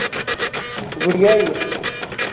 ਗੁੜੀਆ ਹੋਈ ਹੈ